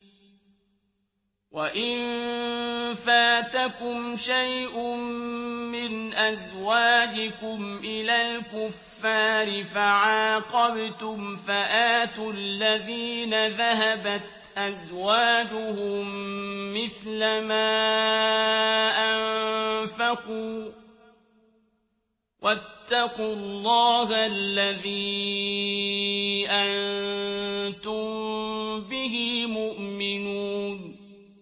وَإِن فَاتَكُمْ شَيْءٌ مِّنْ أَزْوَاجِكُمْ إِلَى الْكُفَّارِ فَعَاقَبْتُمْ فَآتُوا الَّذِينَ ذَهَبَتْ أَزْوَاجُهُم مِّثْلَ مَا أَنفَقُوا ۚ وَاتَّقُوا اللَّهَ الَّذِي أَنتُم بِهِ مُؤْمِنُونَ